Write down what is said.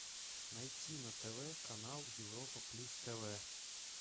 найти на тв канал европа плюс тв